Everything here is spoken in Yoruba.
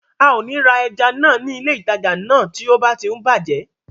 A ò ní ra ẹja náà ní ilé ìtajà náà tí ó bá tí ń bàjẹ́